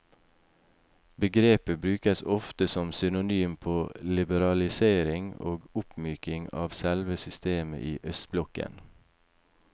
Begrepet brukes ofte som synonym på liberalisering og oppmyking av selve systemet i østblokken.